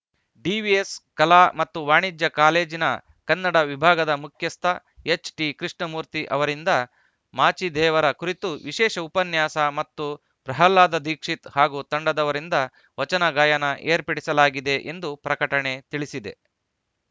DVS ಕಲಾ ಮತ್ತು ವಾಣಿಜ್ಯ ಕಾಲೇಜಿನ ಕನ್ನಡ ವಿಭಾಗದ ಮುಖ್ಯಸ್ಥ ಎಚ್‌ಟಿ ಕೃಷ್ಣಮೂರ್ತಿ ಅವರಿಂದ ಮಾಚಿದೇವರ ಕುರಿತು ವಿಶೇಷ ಉಪನ್ಯಾಸ ಮತ್ತು ಪ್ರಹ್ಲಾದ್‌ ದೀಕ್ಷಿತ್‌ ಹಾಗೂ ತಂಡದವರಿಂದ ವಚನ ಗಾಯನ ಏರ್ಪಡಿಸಲಾಗಿದೆ ಎಂದು ಪ್ರಕಟಣೆ ತಿಳಿಸಿದೆ